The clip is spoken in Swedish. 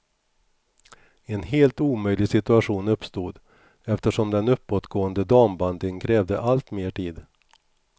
En helt omöjlig situation uppstod, eftersom den uppåtgående dambandyn krävde allt mer tid.